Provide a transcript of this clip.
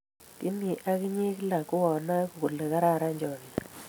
kemi ak inye kila ko anae kole kararan chamiet